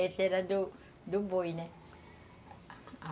Essa era do do boi, né?